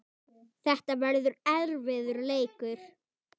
Þetta verður erfiður leikur.